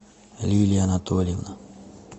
лилия анатольевна